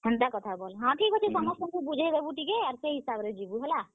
ହଁ, ଠିକ୍ ଅଛେ ସମସ୍ତଙ୍କୁ ବୁଝେଇ ଦେବୁ ଟିକେ, ଆଉ ସେ ହିସାବ୍ ରେ ଯିବୁ ହେଲା।